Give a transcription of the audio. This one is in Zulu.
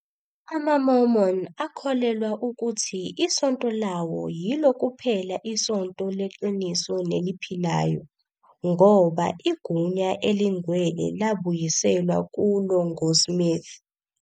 AmaMormon akholelwa ukuthi iSonto lawo "yilo kuphela isonto leqiniso neliphilayo" ngoba igunya elingcwele labuyiselwa kulo ngoSmith.